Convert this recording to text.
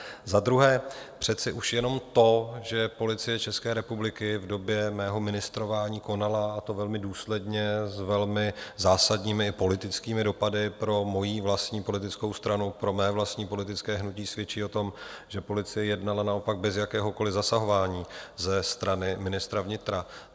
Za druhé, přece už jenom to, že Policie České republiky v době mého ministrování konala, a to velmi důsledně s velmi zásadními politickými dopady pro mojí vlastní politickou stranu, pro mé vlastní politické hnutí, svědčí o tom, že policie jednala naopak bez jakéhokoliv zasahování ze strany ministra vnitra.